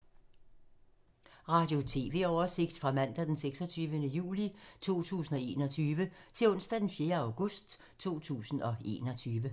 Radio/TV oversigt fra mandag d. 26. juli 2021 til onsdag d. 4. august 2021